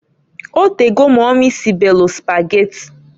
O tego mumy sibelu Sụpageti.